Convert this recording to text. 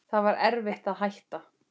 Það var erfitt að hætta.